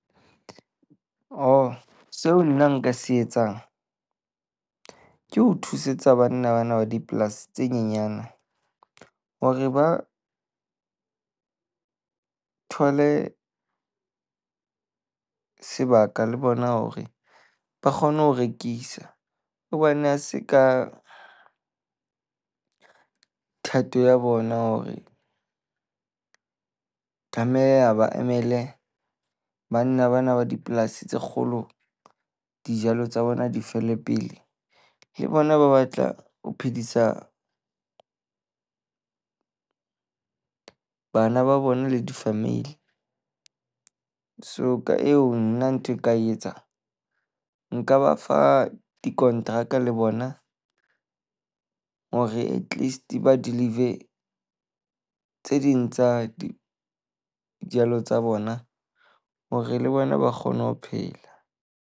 Oh seo nna nka se etsang ke ho thusetsa banna bana ba dipolasi tse nyenyane hore ba thole sebaka le bona hore ba kgone ho rekisa. Hobane ha se ka thato ya bona hore tlameha ba emele banna bana ba dipolasi tse kgolo dijalo tsa bona di fele pele. Le bona ba batla ho phedisa bana ba bona le di-family. So ka eo, nna ntho e ka etsa nka ba fa dikonteraka le bona hore atleast ba deliver tse ding tsa di dijalo tsa bona, hore le bona ba kgone ho phela.